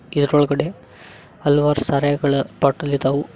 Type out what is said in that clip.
ಇದರೊಳಗಡೆ ಹಲವಾರು ಸಾರಾಯಿಗಳ ಬಾಟಲ್ ಇದಾವು.